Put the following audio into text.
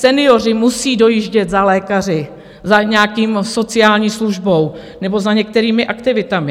Senioři musejí dojíždět za lékaři, za nějakou sociální službou nebo za některými aktivitami.